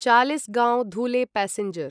Chalisgaon Dhule passenger